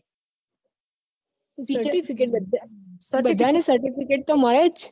બધા ને certificate તો મળે જ